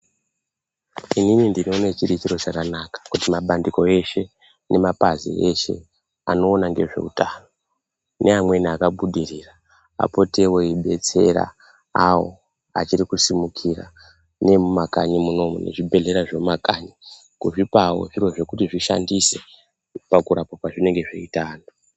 Inini ndinoone chiri chiro chakanaka, kuti mapandiko eshe nemapazi eshe anoona ngezveutano neamweni akabudirira, apotewo eyibetsera awo achiri kusimukira neemumakanyi munomu, nezvibhedhlera zvemumakanyi kuzvipawo zviro zvekuti zvishandise pakurapa kwazvinenge zveiita anhu.